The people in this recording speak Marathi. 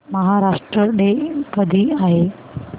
महाराष्ट्र डे कधी आहे